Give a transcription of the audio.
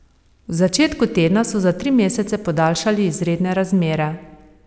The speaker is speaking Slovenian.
V začetku tedna so za tri mesece podaljšali izredne razmere.